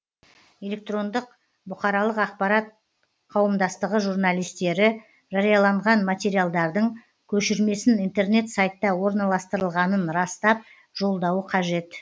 электрондық бұқаралық ақпарат қауымдастығы журналистері жарияланған материалдардың көшірмесін интернет сайтта орналастырылғанын растап жолдауы қажет